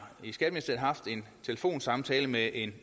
haft en telefonsamtale med en